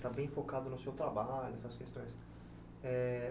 está bem focado no seu trabalho, nessas questões. Eh